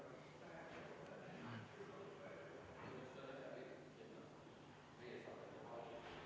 Panen hääletusele muudatusettepaneku nr 35, mille on esitanud Martin Helme, Arvo Aller ja Rain Epler.